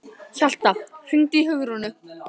Hjalta, hringdu í Hugrúnu.